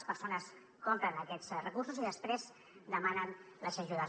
les persones compren aquests recursos i després demanen les ajudes